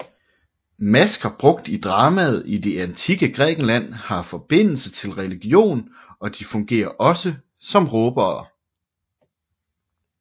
Masker brugt i dramaet i det antikke Grækenland har forbindelse til religion og de fungerer også som råbere